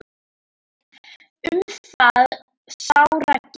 Um það sá Raggi.